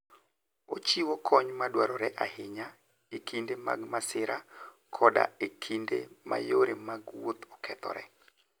Ochiwo kony madwarore ahinya e kinde mag masira koda e kinde ma yore mag wuoth okethore.